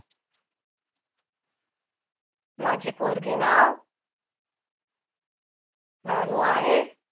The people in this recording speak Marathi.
माझी पोरगी नाव राणू आहे